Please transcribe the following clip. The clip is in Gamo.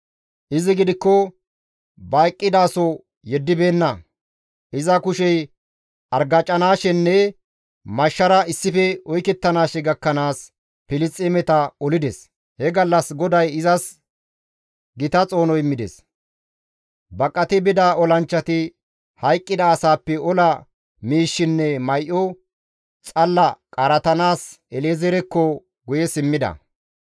Izi gidikko ba eqqidaso yeddibeenna; iza kushey argacanaashenne mashshara issife oykettanaashe gakkanaas Filisxeemeta olides; he gallas GODAY izas gita xoono immides. Baqati bida olanchchati hayqqida asaappe ola miishshinne may7o xalla qaaratanaas Ele7eezerekko guye simmida.